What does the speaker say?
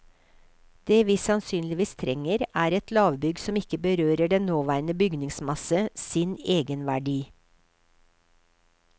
Det vi sannsynligvis trenger, er et lavbygg som ikke berøver den nåværende bygningsmasse sin egenverdi.